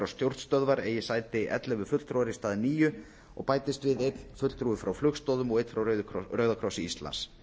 og stjórnstöðvar eigi sæti ellefu fulltrúar í stað níu og bætist við einn fulltrúi frá flugstoðum og einn frá rauða krossi íslands